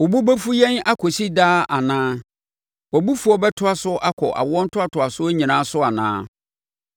Wo bo bɛfu yɛn akɔsi daa anaa? Wʼabofuo bɛtoa so akɔ awoɔ ntoantoasoɔ nyinaa so anaa?